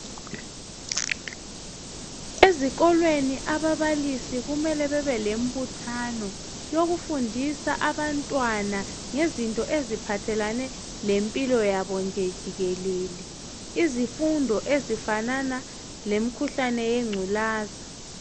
Ezikolweni ababalisi kumele babelomphuthano yokufundisa abantwana ngezinto eziphathelane lempilo yabo nje jikelele. Izifundo ezifanana lemikhuhlane yengculaza.